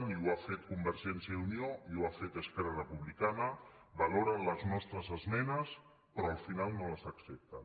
i ho ha fet convergència i unió i ho ha fet esquerra republicana valoren les nostres esmenes però al final no les accepten